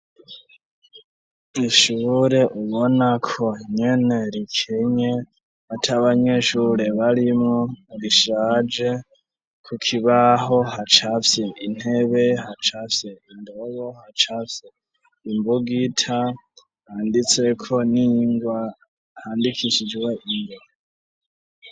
Ishure ubona ko nyene rikenye atabanyeshure barimo rishaje ku kibaho hacafye intebe hacafye indobo, hacafye imbugita handitse ko ningwa handikishijwe .